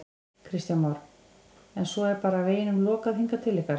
Kristján Már: En svo er bara veginum lokað hingað til ykkar?